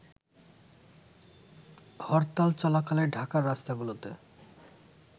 হরতাল চলাকালে ঢাকার রাস্তাগুলোতে